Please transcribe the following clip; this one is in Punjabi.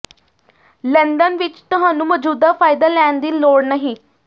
ਲੰਦਨ ਵਿਚ ਤੁਹਾਨੂੰ ਮੌਜ਼ੂਦਾ ਫ਼ਾਇਦਾ ਲੈਣ ਦੀ ਲੋੜ ਨਹੀਂ